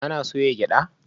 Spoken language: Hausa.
Ana soya gyada?